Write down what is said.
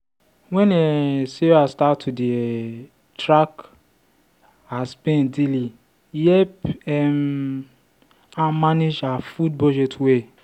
when um sarah start to dey um track her spend daily e help um am manage her food budget well.